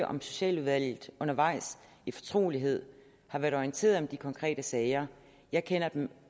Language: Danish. om socialudvalget undervejs i fortrolighed har været orienteret om de konkrete sager jeg kender dem